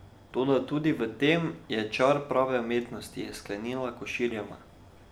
Toda tudi v tem je čar prave umetnosti, je sklenila Koširjeva.